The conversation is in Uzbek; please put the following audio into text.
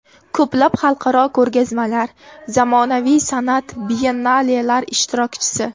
Ko‘plab xalqaro ko‘rgazmalar, zamonaviy san’at biyennalelar ishtirokchisi.